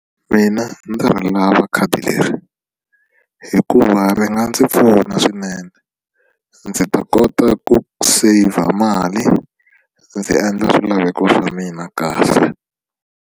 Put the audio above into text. Mina ndzi ri lava khadi leri hikuva ri nga ndzi pfuna swinene ndzi ta kota ku saver mali ndzi endla swilaveko swa mina kahle.